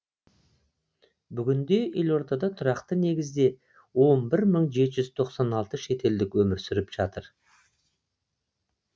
бүгінде елордада тұрақты негізде он бір мың жеті жүз тоқсан алты шетелдік өмір сүріп жатыр